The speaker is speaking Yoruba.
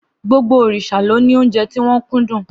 Gbogbo òrìṣà ló ní óúnjẹ tí wọ́n kúndùn.